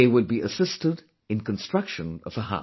They will be assisted in construction of a house